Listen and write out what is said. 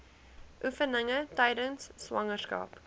oefeninge tydens swangerskap